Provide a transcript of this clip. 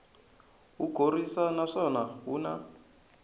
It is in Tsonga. wu khorwisi naswona wu na